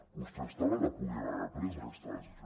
vostès també la podien haver pres aquesta decisió